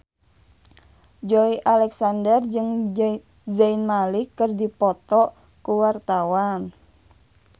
Joey Alexander jeung Zayn Malik keur dipoto ku wartawan